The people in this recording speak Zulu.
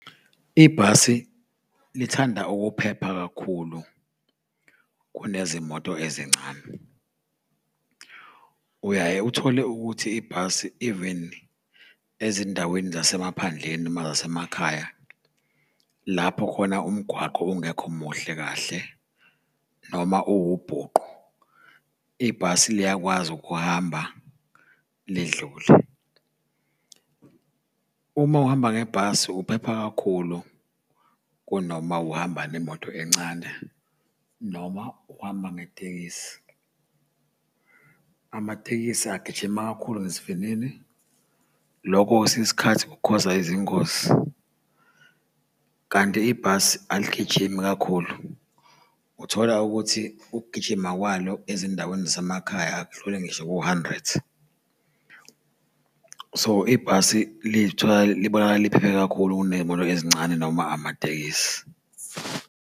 Ibhasi lithanda ukuphepha kakhulu kunezimoto ezincane. Uyaye uthole ukuthi ibhasi even ezindaweni zasemaphandleni noma zasemakhaya, lapho khona umgwaqo ungekho muhle kahle noma uwubhuqu, ibhasi liyakwazi ukuhamba lidlule. Uma uhamba ngebhasi uphepha kakhulu kunoma uhamba ngemoto encane noma uhamba ngetekisi. Amatekisi agijima kakhulu ngesivinini, lokho kwesinye isikhathi kukhoza izingozi, kanti ibhasi aligijimi kakhulu. Uthola ukuthi ukugijima kwalo ezindaweni zasemakhaya akudlulile ngisho ku-hundred. So, ibhasi liy'thola libonakala liphephe kakhulu kuney'moto ezincane noma amatekisi.